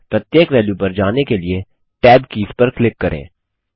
प्रत्येक वेल्यू पर जाने के लिए tab कीज पर क्लिक करें